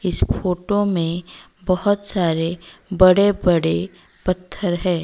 इस फोटो में बहुत सारे बड़े बड़े पत्थर है।